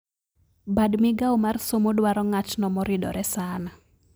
Bad migao mar somo dwaro ng`atno moridore saana